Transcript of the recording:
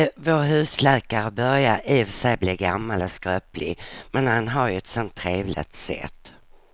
Vår husläkare börjar i och för sig bli gammal och skröplig, men han har ju ett sådant trevligt sätt!